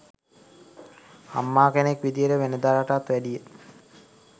අම්මා කෙනෙක් විදියට වෙනදාටත් වැඩිය